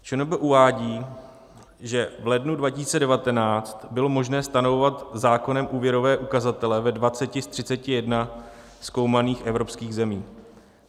ČNB uvádí, že v lednu 2019 bylo možné stanovovat zákonem úvěrové ukazatele ve 20 z 31 zkoumaných evropských zemí.